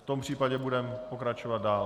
V tom případě budeme pokračovat dál.